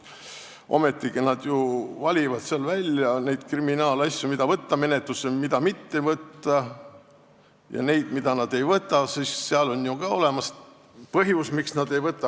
Ometigi nad ju valivad välja neid kriminaalasju, mida võtta menetlusse ja mida mitte võtta, ja kui nad ei võta, siis on olemas põhjus, miks nad ei võta.